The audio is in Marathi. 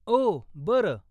ओह, बरं.